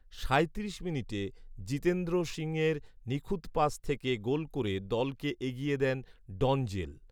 সাঁইত্রিশ মিনিটে জিতেন্দ্র সিংয়ের নিখুঁত পাস থেকে গোল করে দলকে এগিয়ে দেন ডঞ্জেল